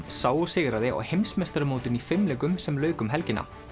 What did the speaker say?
sá og sigraði á heimsmeistaramótinu í fimleikum sem lauk um helgina